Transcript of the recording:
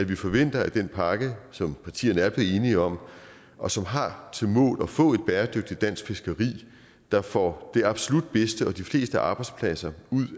vi forventer at den pakke som partierne er blevet enige om og som har til mål at få et bæredygtigt dansk fiskeri der får det absolut bedste og de fleste arbejdspladser ud